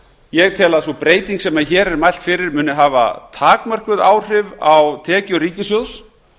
ég tel að sú breyting sem hér er mælt fyrir muni hafa takmörkuð áhrif á tekjur ríkissjóðs